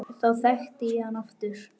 Þá þekkti ég hann aftur